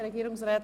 Regierungsrat